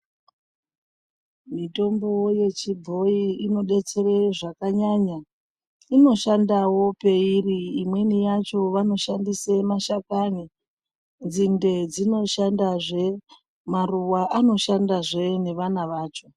Mitombo yechibhoi inobetsere zvakanyanya, inoshandawo peiri imweni yacho vanoshandise mashakwani nzinde dzinoshandazve maruva anoshandazve nevana vacho.